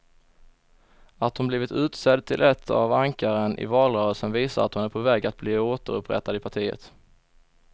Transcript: Att hon blivit utsedd till ett av ankaren i valrörelsen visar att hon är på väg att bli återupprättad i partiet.